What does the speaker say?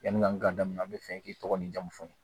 Yani an ka daminɛ an bi fɛ k'i tɔgɔ n'i jamu fɔ n ye